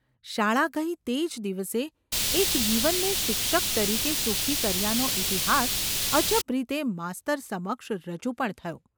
શાળા ગઈ તે જ દિવસે એક જીવનને શિક્ષક તરીકે સુખી કર્યાનો ઇતિહાસ અજબ રીતે માસ્તર સમક્ષ રજૂ પણ થયો.